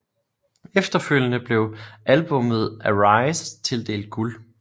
Efterfølgende blev albummet Arise tildelt guld